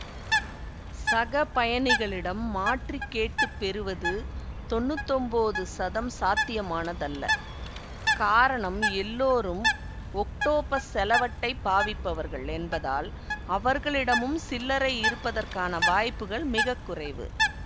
சக பயணிகளிடம் மாற்றி கேட்டுப் பெறுவது தொன்னூத்தொன்போது சதம் சாத்தியமானதல்ல காரணம் எல்லோரும் ஒக்டோப்பஸ் செலவட்டைப் பாவிப்பவர்கள் என்பதால் அவர்களிடமும் சில்லரை இருப்பதற்கான வாய்ப்புகள் மிக குறைவு